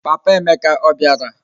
Papa Emeka obiara?